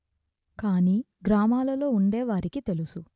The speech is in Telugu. కానీ గ్రామాలలో ఉండేవారికి తెలుసు